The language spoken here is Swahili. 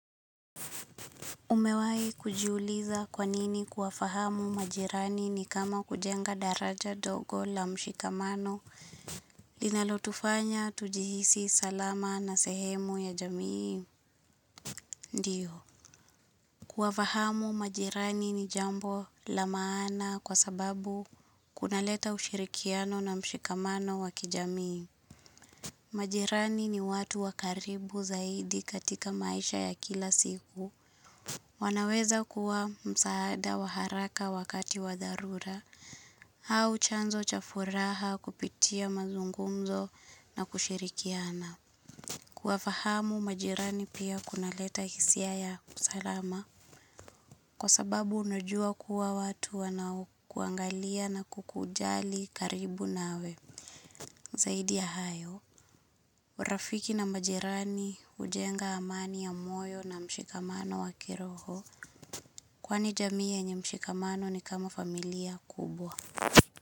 Umewai kujiuliza kwa nini kuwafahamu majirani ni kama kujenga daraja dogo la mshikamano linalotufanya tujihisi salama na sehemu ya jamii ndiyo. Kuwafahamu majirani ni jambo la maana kwa sababu kunaleta ushirikiano na mshikamano wa kijamii. Majirani ni watu wakaribu zaidi katika maisha ya kila siku. Wanaweza kuwa msaada wa haraka wakati wa dharura, au chanzo cha furaha kupitia mazungumzo na kushirikiana. Kuwafahamu majirani pia kunaleta hisia ya usalama, kwa sababu unajua kuwa watu wanaokuangalia na kukujali karibu nawe. Zaidi ya hayo, urafiki na majirani hujenga amani ya moyo na mshikamano wa kiroho. Kwani jamii yenye mshikamano ni kama familia kubwa.